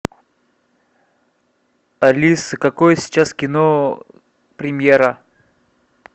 алиса какое сейчас кино премьера